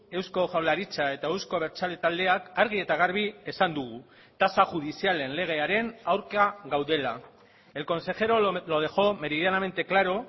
eusko jaurlaritza eta euzko abertzale taldeak argi eta garbi esan dugu tasa judizialen legearen aurka gaudela el consejero lo dejo meridianamente claro